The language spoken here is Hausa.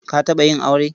Ka taɓa yin aure?